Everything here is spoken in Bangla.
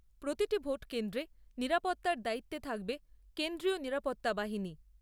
প্রতিটি ভোট কেন্দ্রে নিরাপত্তার দায়িত্বে থাকবে কেন্দ্রীয় নিরাপত্তা বাহিনী।